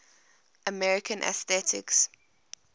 american atheists